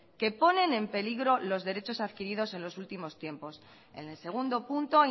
que ponen en peligro los derechos adquiridos en los últimos tiempos en el segundo punto